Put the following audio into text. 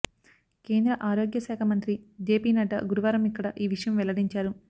కేంద్ర ఆరోగ్య శాఖ మంత్రి జెపి నడ్డా గురువారం ఇక్కడ ఈ విషయం వెల్లడించారు